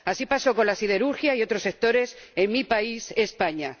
Así pasó con la siderurgia y otros sectores en mi país, España.